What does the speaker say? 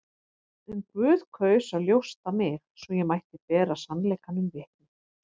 En Guð kaus að ljósta mig, svo ég mætti bera sannleikanum vitni.